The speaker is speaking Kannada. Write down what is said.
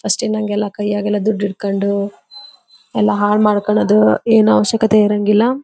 ಫಸ್ಟ್ ಇಂದ್ ಹಂಗೆಲ್ಲಾ ಕೈಯಗೆಲ್ಲಾ ದುಡ್ಡ ಇಟ್ಟಕೊಂಡು ಎಲ್ಲಾ ಹಾಳ್ ಮಾಡ್ಕೊಳುದು ಏನು ಅವಶ್ಯಕತೆ ಇರಂಗಿಲ್ಲಾ.